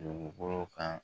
Dugukolo kan